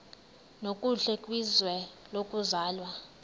nokuhle kwizwe lokuzalwa